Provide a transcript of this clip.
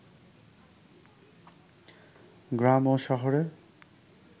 গ্রাম ও শহরের